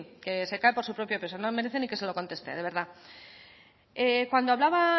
que se cae por su propio peso no merece ni que se lo conteste de verdad cuando hablaba